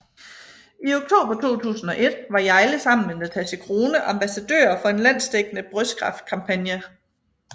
I oktober 2001 var Hjejle sammen med Natasja Crone ambassadører for en landsdækkende brystkræftkampagne